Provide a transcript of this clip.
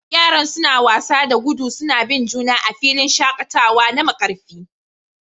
Yaran suna wasa da gudu suna bin juna a filin shakatawa na Markarfi